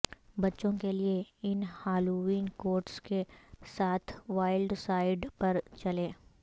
بچوں کے لئے ان ہالووین کوٹس کے ساتھ وائلڈ سائڈ پر چلیں